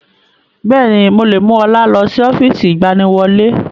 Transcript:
Bẹ́ẹ̀ni, mo lè mú ọlá lọ sí ọ́fíìsì ìgbaniwọlé